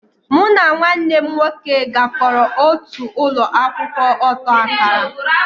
Mụ na nwanne m nwoke gakoro otu ụlọ akwụkwọ ọta akara